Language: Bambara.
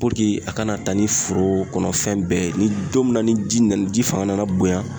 Puruke a kana taa ni foro kɔnɔ fɛn bɛɛ ye ni don min na ni ji nana ji fanga nana bonya